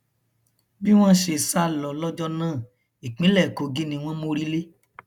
bí wọn ṣe sá lọ lọjọ náà ìpínlẹ kogi ni wọn mórí lé